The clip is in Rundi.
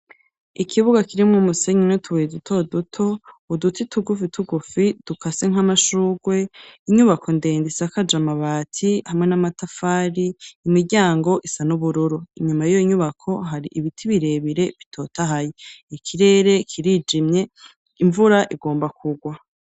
Ikibuga kirimwo umusenyi n'utubuye dutoduto, uduti tugufitugufi dukase nk'amashurwe, inyubako ndende isakaje amabati hamwe n'amatafari, imiryango isa n'ubururu. inyuma y'inyubako hari ibiti birebire bitotahaye, ikirere kirijimye, imvura igomba kugwa.